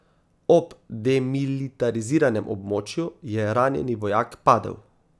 Ob demilitariziranem območju je ranjeni vojak padel.